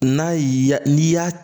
N'a y'i ya n'i y'a